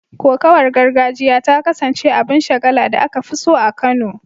Kokawar gargajiya ta kasance abin shagala da aka fi so a Kano